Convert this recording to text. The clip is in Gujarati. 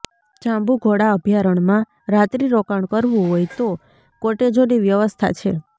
જાંબુઘોડા અભયારણ્યમાં રાત્રિરોકાણ કરવું હોય તો કોટેજોની વ્યવસ્થા છે